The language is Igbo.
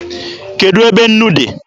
Kedụ ebe nnu dị?